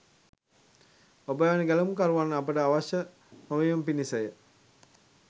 ඔබ වැනි ගැලවුම්කරුවන් අපට අවශ්‍ය නොවීම පිණිසය